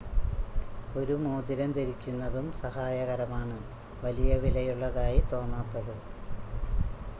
ഒരു മോതിരം ധരിക്കുന്നതും സഹായകരമാണ് വലിയ വിലയുള്ളതായി തോന്നാത്തത്